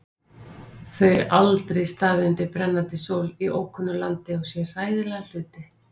Þau aldrei staðið undir brennandi sól í ókunnu landi og séð hræðilega hluti.